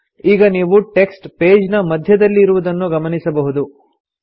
ನೀವು ಈಗ text page ನ ಮಧ್ಯದಲ್ಲಿ ಇರುವುದನ್ನು ಗಮನಿಸಬಹುದು